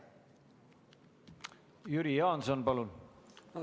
Jüri Jaanson, palun!